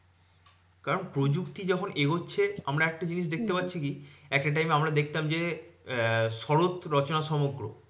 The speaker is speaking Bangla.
কারণ প্রযুক্তি যখন এগোচ্ছে, আমরা একটা জিনিস দেখতে হম পাচ্ছি কি? একটা time এ আমরা দেখতাম যে আহ শরৎ রচনা সমগ্র।